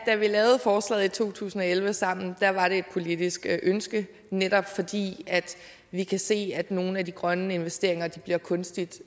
da vi lavede forslaget i to tusind og elleve sammen var et politisk ønske netop fordi vi kan se at nogle af de grønne investeringer bliver kunstigt